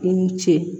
I ni ce